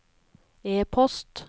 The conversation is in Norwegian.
e-post